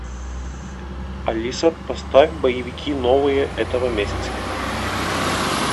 алиса поставь боевики новые этого месяца